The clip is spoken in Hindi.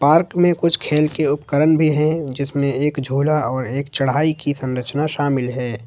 पार्क में कुछ खेल के उपकरण भी हैं जिसमें एक झूला और एक चढ़ाई की संरचना शामिल है।